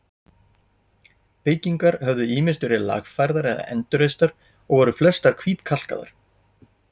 Byggingar höfðu ýmist verið lagfærðar eða endurreistar og voru flestar hvítkalkaðar.